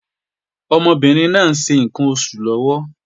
Ọmọbìnrin náà ń ṣe ǹkan oṣù lọ́wọ́